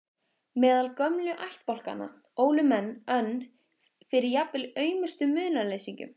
Meðal gömlu ættbálkanna ólu menn önn fyrir jafnvel aumustu munaðarleysingjum.